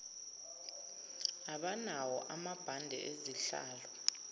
abanawo amabhande ezihlalo